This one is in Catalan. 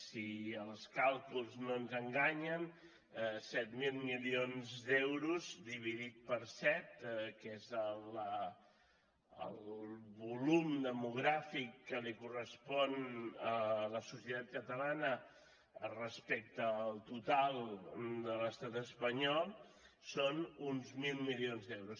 si els càlculs no ens enganyen set mil milions d’euros dividit per set que és el volum demogràfic que li correspon a la societat catalana respecte al total de l’estat espanyol són uns mil milions d’euros